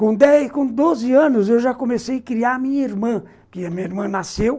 Com dez, com doze anos eu já comecei a criar a minha irmã, que a minha irmã nasceu.